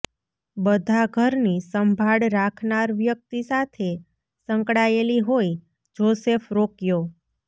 બધા ઘરની સંભાળ રાખનાર વ્યક્તિ સાથે સંકળાયેલી હોય જોસેફ રોક્યો